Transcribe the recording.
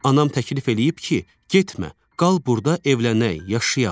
Anam təklif eləyib ki, getmə, qal burda, evlənək, yaşayaq.